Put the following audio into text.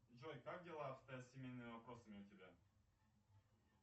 джой как дела обстоят с семейными вопросами у тебя